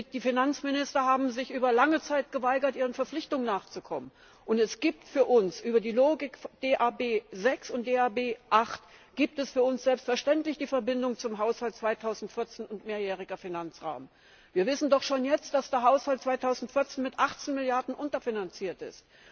Die Finanzminister haben sich über lange Zeit geweigert, ihren Verpflichtungen nachzukommen, und es gibt für uns über die Logik DAB 6 und DAB 8 selbstverständlich die Verbindung zum Haushalt 2014 und Mehrjähriger Finanzrahmen. Wir wissen doch schon jetzt, dass der Haushalt 2014 mit 18 Milliarden unterfinanziert ist.